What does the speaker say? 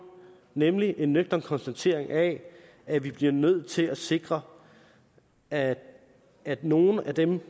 nemlig en nøgtern konstatering af at vi bliver nødt til at sikre at at nogle af dem